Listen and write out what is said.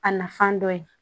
A nafan dɔ ye